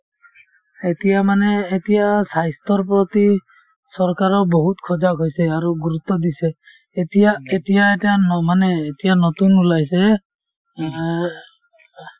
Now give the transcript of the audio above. এতিয়া মানে এতিয়া স্বাস্থ্যৰ প্ৰতি চৰকাৰেও বহুত সজাগ হৈছে আৰু গুৰুত্ব দিছে এতিয়া এতিয়া এতে আৰ্ ন মানে এতিয়া নতুন ওলাইছে